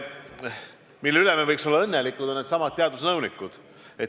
Mille üle me võiks olla õnnelikud, on needsamad teadusnõunikud.